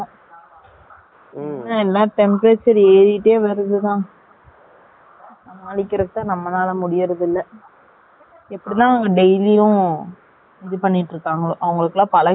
எல்லா temperature ஏறிட்டே வருதுண்ணா..சமாளிக்கிறதுக்குத்தான், நம்மளால முடியறதில்லை. இப்படித்தான், அவங்க daily யும், இது பண்ணிட்டு இருக்காங்களோ, அவங்களுக்கு எல்லாம், பழகி இருக்கும் இல்லையா?